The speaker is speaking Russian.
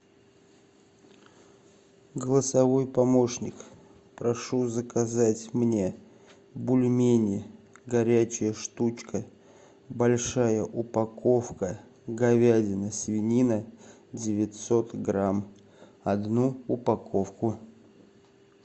голосовой помощник прошу заказать мне бульмени горячая штучка большая упаковка говядина свинина девятьсот грамм одну упаковку